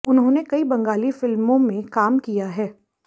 उन्होंने कई बंगाली फिल्मों में का काम किया है